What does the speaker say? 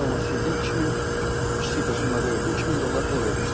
Ev almaq istəyirdim, 2000 kiçik də summa deyildi, 2000 dollar pul vermişdim.